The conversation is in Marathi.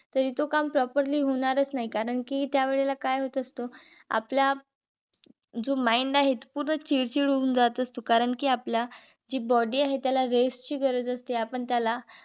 तरी तो काम properly होणारच नाही. कारण कि त्यावेळेला काय होत असत. आपला जो mind आहे. तो पूर्ण चिडचिड होऊन जात असतो. कारण कि आपला जी body आहे. त्याला rest ची गरज असते. आपण त्याला